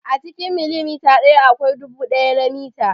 A cikin milimita ɗaya akwai dubu ɗaya na mita.